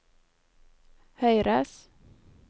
høyres